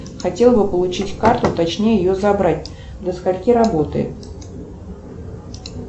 хотел бы получить карту точнее ее забрать до скольки работает